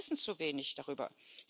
Die Menschen wissen zu wenig darüber.